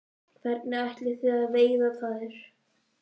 Hvernig ætlið þið að veiða þær?